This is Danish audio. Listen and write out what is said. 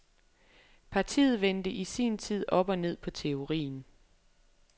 Partiet vendte i sin tid op og ned på teorien.